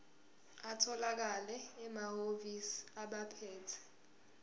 atholakala emahhovisi abaphethe